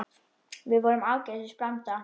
Við vorum ágætis blanda.